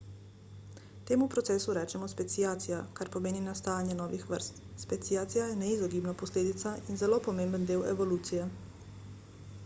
temu procesu rečemo speciacija kar pomeni nastajanje novih vrst speciacija je neizogibna posledica in zelo pomemben del evolucije